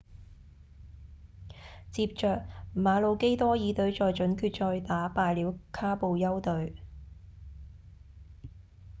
接著馬魯基多爾隊在準決賽打敗了卡布丘隊